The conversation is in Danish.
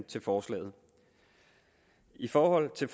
til forslaget i forhold til